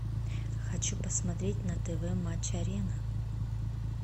хочу посмотреть на тв матч арена